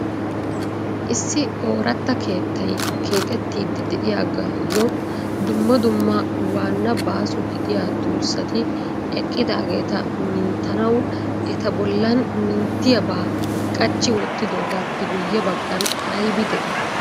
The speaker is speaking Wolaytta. issi oraatra keettay keexxetidi de'iyaagayyo dumma dumma waanna baaso gidiyaa tuussati eqqidaageeta minttanaw eta bollan minttiyaaba qachchi wottidoogaappe guyye baggan aybbi de'i?